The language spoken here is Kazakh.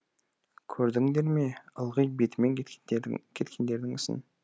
көрдіңдер ме ылғи бетімен кеткендердің ісін